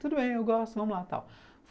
Tudo bem, eu gosto, vamos lá, tal.